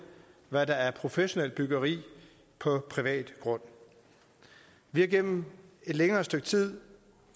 hvad der er professionelt byggeri på privat grund vi har igennem et længere stykke tid